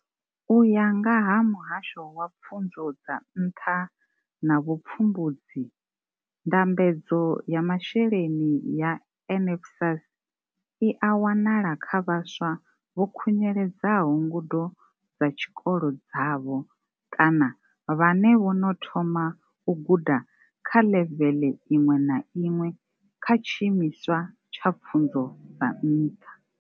U ya nga ha muhasho wa pfunzo dza nṱha na vhu pfumbudzi, ndambedzo ya masheleni ya NSFAS i a wanala kha vhaswa vho khunyeledzaho ngudo dza tshikolo dzavho kana vhane vho no thoma u guda kha ḽevele iṅwe na iṅwe kha tshi imiswa tsha pfunzo dza nṱha.